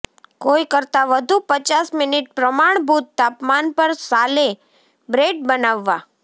કોઈ કરતાં વધુ પચાસ મિનિટ પ્રમાણભૂત તાપમાન પર સાલે બ્રેઙ બનાવવા